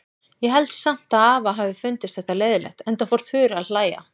Ég held samt að afa hafi fundist þetta leiðinlegt, enda fór Þura að hlæja.